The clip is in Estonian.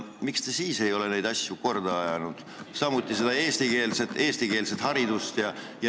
Miks te siis neid asju korda ei ajanud, samuti seda eestikeelset haridust?